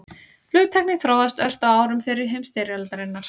Flugtæknin þróaðist ört á árum fyrri heimsstyrjaldarinnar.